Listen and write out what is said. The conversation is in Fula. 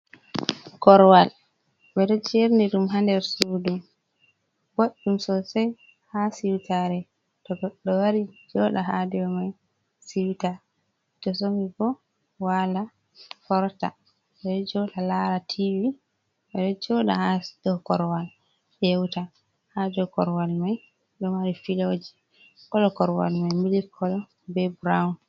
Korowal ɓeɗo jerni ɗum ha nder sudu boɗɗum sosai haa siwtare. To goɗɗo wari joɗa haa dow mai siuta, to somi bo wala forta, ɓeɗo joɗa lara tivi, ɓeɗo joɗa ha dow korowal yeuta. Haa dow korowal mai ɗo mari filoji, kolo korowal mai milik kolo be burawun.